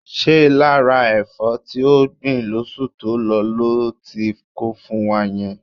Ṣé lára ẹ̀fọ́ tí o gbìn lóṣù tó lọ lo ti kó fún wa yẹn?